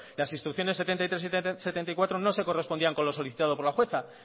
las instrucciones setenta y tres y setenta y cuatro no se correspondían con lo solicitado por la jueza